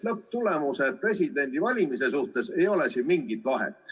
Lõpptulemuse ehk presidendi valimise suhtes ei ole siin mingit vahet.